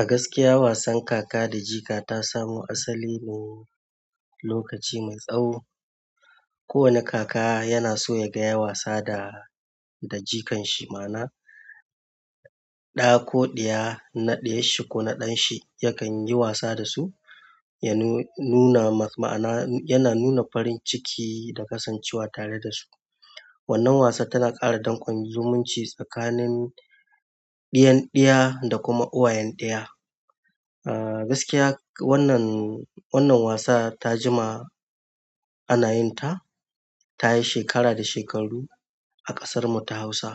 A gaskiya wasan kaka da jika ta samo asali ne lokaci mai tsawo. Ko wani kaka yana so ya ga ya wasa da, da jikan shi ma na, ɗa ko ɗiya, na ɗayan shi ko na ɗan shi yakan yi wasa da su. Ya nu-nuna ma'ana, yana nuna farin ciki da kasancewa tare da su. Wannan wasa tana ƙara dan kwanzumci tsakanin ɗayan ɗaya da kuma uwayen ɗaya. Aaa, gaskiya wannan, wannan wasa ta jima ana yin ta. Ta yi shekara da shekaru a ƙasar mu ta Hausa.